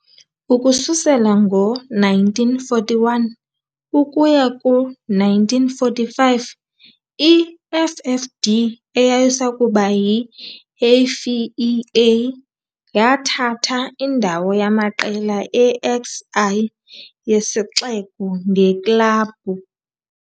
Ukususela ngo-1941 ukuya ku-1945 i-FFD, eyayisakuba yi-AFEA, yathatha indawo yamaqela e-XI yesixeko ngeklabhu.